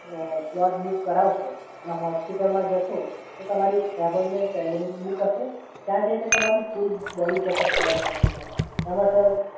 તમે sir slot book કરાવશો અને હોસ્પિટલમાં જશો તો તમારી અપોઇન્ટમેન્ટ સેલેરી બુક હશે ત્યાં જઈને તમારી ફૂલ બોડી ચેકઅપ કવર કરશે, સર.